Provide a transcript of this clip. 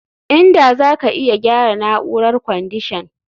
Inda zaka iya gyara na'urar kwandishan